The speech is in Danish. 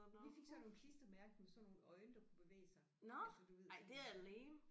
Vi fik sådan nogle klistermærke med sådan nogle øjne der kunne bevæge sig altså du ved sådan